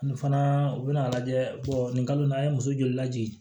Nin fana u bɛna lajɛ nin kalo in na a ye muso joli lajigin